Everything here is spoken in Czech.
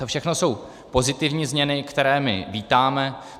To všechno jsou pozitivní změny, které my vítáme.